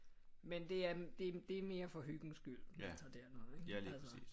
Men det er det er mere for hyggens skyld vi tager derned ikke altså